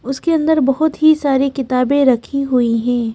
उसके अंदर बहुत ही सारी किताबें रखी हुई हैं।